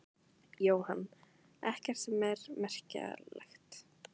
Jóhann: Ekkert sem er merkjanlegt?